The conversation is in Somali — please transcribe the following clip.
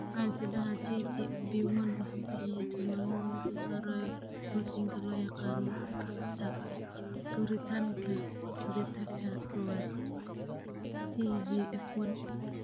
Hidde-sidaha TGFB1 wuxuu bixiyaa tilmaamo lagu soo saarayo borotiinka loo yaqaan beddelka factor koritaanka betaka kowaad (TGF 1).